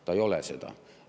Ta ei ole seda.